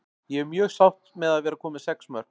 Ég er mjög sátt með að vera komin með sex mörk.